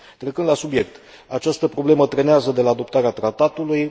Trecând la subiect această problemă trenează de la adoptarea Tratatului.